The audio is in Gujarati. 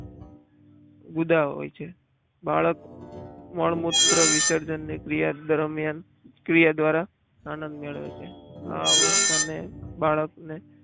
ગુદા હોય છે બાળક મળમૂત્ર વિસર્જનની ક્રિયા દરમિયાન ક્રિયા દ્વારા આનંદ મેળવે છે આ અવસ્થાને બાળકને